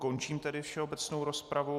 Končím tedy všeobecnou rozpravu.